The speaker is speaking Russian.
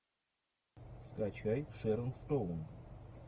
скачай шерон стоун